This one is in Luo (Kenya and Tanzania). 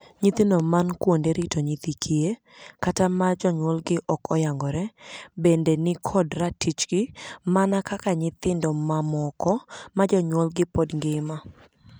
Nyithindo man kuonde rito nyithi kiye, kata ma jonyuolgi ok oyangore, bende ni kod ratichgi mana kaka nyithindo mamoko ma jonyuolgi pod ngima.